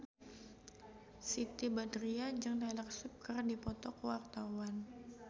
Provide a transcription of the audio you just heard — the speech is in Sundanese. Siti Badriah jeung Taylor Swift keur dipoto ku wartawan